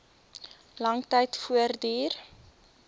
lang tyd voortduur